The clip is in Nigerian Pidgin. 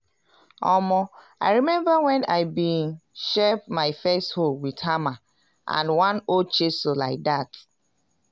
omo i remember wen i been shape my first hoe wit hammer and one old chisel like dat.